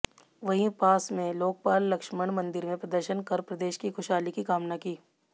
वहीं पास में लोकपाल लक्ष्मण मंदिर में दर्शन कर प्रदेश की खुशहाली की कामना की